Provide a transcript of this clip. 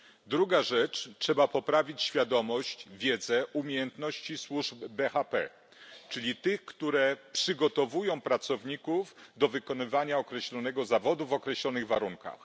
Druga rzecz trzeba poprawić świadomość, wiedzę, umiejętności służb BHP, czyli tych, które przygotowują pracowników do wykonywania określonego zawodu w określonych warunkach.